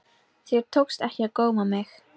Þér tókst ekki að góma mig.